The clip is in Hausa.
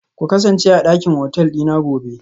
Ku kasance a dakin hotel dina gobe